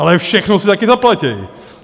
Ale všechno si také zaplatí.